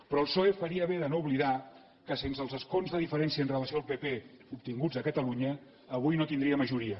però el psoe faria bé de no oblidar que sense els escons de diferència amb relació al pp obtinguts a catalunya avui no tindria majoria